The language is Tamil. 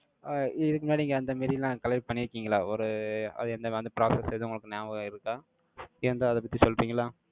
அஹ் இதுக்கு முன்னாடி, நீங்க அந்த மாறிலாம் collect பண்ணிருக்கீங்களா? ஒரு, அது இந்த process எதுவும் உங்களுக்கு ஞாபகம் இருக்கா ஏன்ட்ட, அதைப் பத்தி சொல்றீங்களா?